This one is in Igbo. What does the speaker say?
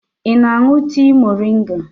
Ị na-aṅụ tii moringa?